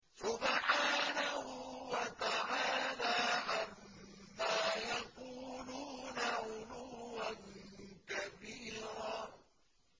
سُبْحَانَهُ وَتَعَالَىٰ عَمَّا يَقُولُونَ عُلُوًّا كَبِيرًا